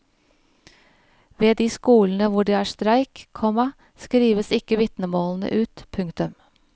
Ved de skolene hvor det er streik, komma skrives ikke vitnemålene ut. punktum